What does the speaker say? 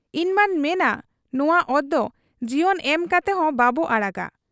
ᱤᱧᱢᱟᱹᱧ ᱢᱮᱱᱟ ᱱᱚᱶᱟ ᱚᱛᱫᱚ ᱡᱤᱭᱚᱱ ᱮᱢ ᱠᱟᱛᱮᱦᱚᱸ ᱵᱟᱵᱚ ᱟᱲᱟᱜᱟ ᱾